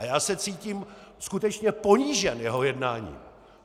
A já se cítím skutečně ponížen jeho jednáním.